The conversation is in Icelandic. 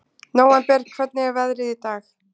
Nóvember, hvernig er veðrið í dag?